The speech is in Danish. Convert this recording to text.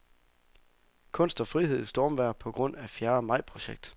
Kunst og frihed i stormvejr på grund af fjerde majprojekt.